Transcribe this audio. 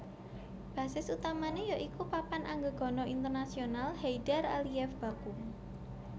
Basis utamane ya iku Papan Anggegana Internasional Heydar Aliyev Baku